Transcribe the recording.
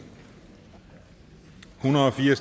hundrede og fire